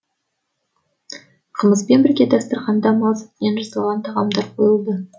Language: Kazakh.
қымызбен бірге дастарханда мал сүтінен жасалған тағамдар қойылды